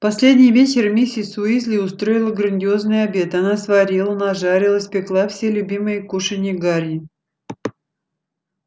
в последний вечер миссис уизли устроила грандиозный обед она сварила нажарила испекла все любимые кушанья гарри